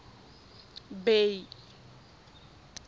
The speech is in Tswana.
bay